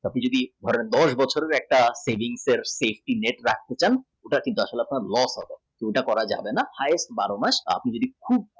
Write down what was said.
আপনি যদি দশ বছরের savingssafety net রাখতে চান সেটা দশ বছরের মত করা যাবে না height বারো মাস